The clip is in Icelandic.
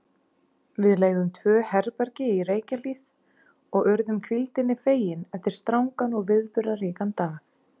Við leigðum tvö herbergi í Reykjahlíð og urðum hvíldinni fegin eftir strangan og viðburðaríkan dag.